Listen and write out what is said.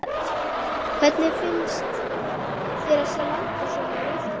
Hödd: Hvernig finnst þér að sjá landið svona úr loftinu?